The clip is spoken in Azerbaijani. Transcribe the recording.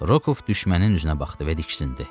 Rokov düşmənin üstünə baxdı və diksindi.